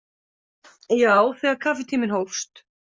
Já, þegar kaffitíminn hófst.